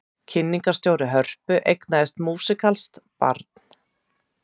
Kynningarstjóri Hörpu eignaðist músíkalskt barn